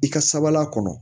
I ka sabalila kɔnɔ